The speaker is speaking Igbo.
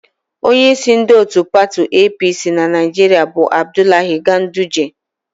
Onyeísí ndị òtù pati EePiiSii na Naịjiria bụ Abdulahi Ganduje.